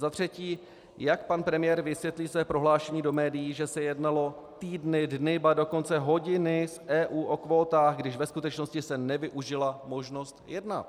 Za třetí: Jak pan premiér vysvětlí své prohlášení do médií, že se jednalo týdny, dny, ba dokonce hodiny s EU o kvótách, když ve skutečnosti se nevyužila možnost jednat?